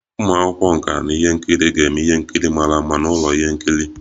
Ụmụ akwụkwọ nka ihe nkiri ga-eme ihe nkiri mara mma n'ụlọ ihe nkiri